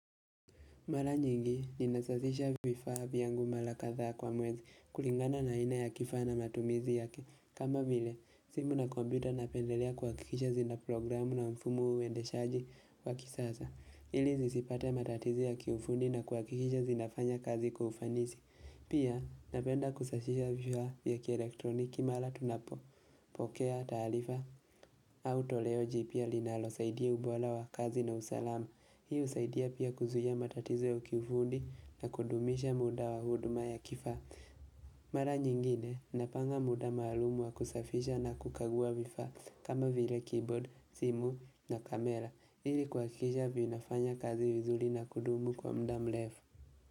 Mala nyingi, ninasazisha vifaa vyangu mala kadhaa kwa mwezi kulingana na aina ya kifaa na matumizi yake. Kama vile, simu na kompyuta napendelea kuhakikisha zina programu na mfumo uende shaji wa kisaza. Ili zisipate matatizo ya kiufundi na kuha kikisha zinafanya kazi kwa ufanisi. Pia, napenda kusashisha vifaa vya ki elektroniki mala tunapopokea taalifa. Au toleo jipya linalo saidia ubola wa kazi na usalama. Hii husaidia pia kuzuia matatizo ya kifundi na kudumisha muda wa huduma ya kifaa. Mara nyingine napanga muda maalumu wa kusafisha na kukagua vifa kama vile keyboard, simu na kamera. Ili kuhakikisha vinafanya kazi vizuli na kudumu kwa mda mlefu.